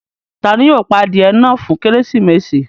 Tani yóò pà adiẹ̀ náà fún Kérésímesì?